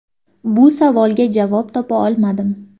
Bu savolga javob topa olmadim.